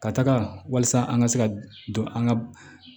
Ka taga walasa an ka se ka don an ka